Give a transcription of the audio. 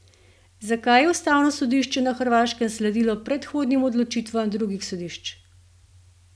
Zakaj je ustavno sodišče na Hrvaškem sledilo predhodnim odločitvam drugih sodišč?